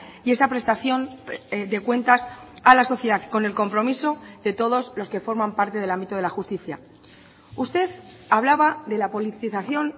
y esa prestación de cuentas a la sociedad con el compromiso de todos los que forman parte del ámbito de la justicia usted hablaba de la politización